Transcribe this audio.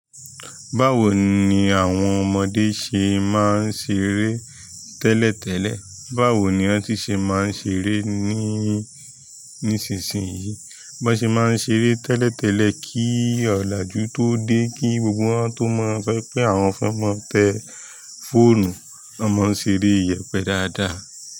Báwo ni àwọn ọmọdé ṣe máa ń ṣeré tẹ́lẹ̀tẹ́lẹ̀? Báwo ni wọ́n ti ṣe máa ń ṣeré ni-- nísinsìnyí? Bi wọn se maa n ṣeré tẹ́lẹ̀tẹ́lẹ̀ ki olaju to de ki gbogbo wọn to mọ sọ wípé àwọn fẹ mọ tẹ fóònù wọn mọ n ṣeré yẹpẹ dáadáa.